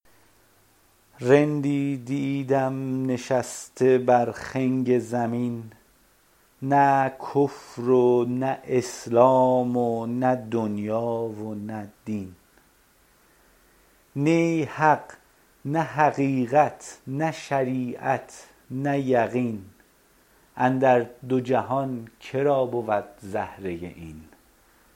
رندی دیدم نشسته بر خنگ زمین نه کفر و نه اسلام و نه دنیا و نه دین نی حق نه حقیقت نه شریعت نه یقین اندر دو جهان که را بود زهره این